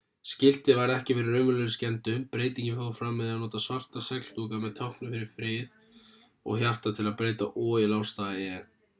skiltið varð ekki fyrir raunverulegum skemmdum breytingin fór fram með því að nota svarta segldúka með táknum fyrir frið og hjarta til að breyta o í lágstafa e